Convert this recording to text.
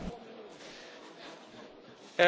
Herr Präsident!